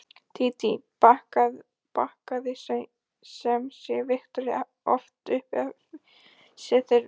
Dídí bakkaði sem sé Viktoríu oft upp ef þess þurfti.